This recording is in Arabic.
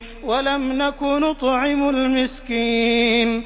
وَلَمْ نَكُ نُطْعِمُ الْمِسْكِينَ